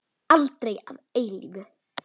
Aldrei að eilífu.